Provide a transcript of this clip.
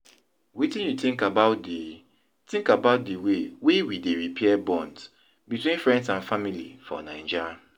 wetin you think about di think about di way wey we dey repair bonds between friends and family for Naija?